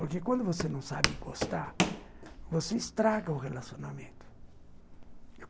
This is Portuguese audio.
Porque quando você não sabe gostar, você estraga o relacionamento.